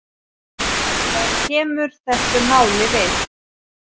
Það kemur þessu máli við.